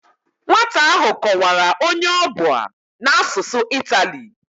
Nwata ahụ kọwara onye ọ bụ a n'asụsụ itali